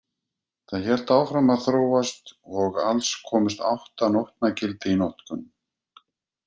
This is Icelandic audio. Það hélt áfram að þróast og alls komust átta nótnagildi í notkun.